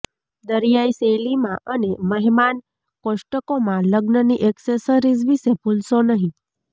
દરિયાઇ શૈલીમાં અને મહેમાન કોષ્ટકોમાં લગ્નની એક્સેસરીઝ વિશે ભૂલશો નહીં